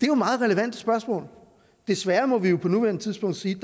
jo meget relevante spørgsmål desværre må vi på nuværende tidspunkt sige